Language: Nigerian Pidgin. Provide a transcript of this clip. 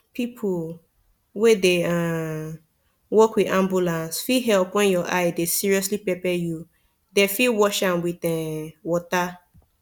people wey dey um work with ambulance fit help when your eye dey seriously pepper you them fit wash am with um water